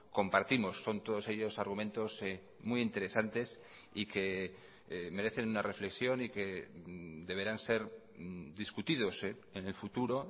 compartimos son todos ellos argumentos muy interesantes y que merecen una reflexión y que deberán ser discutidos en el futuro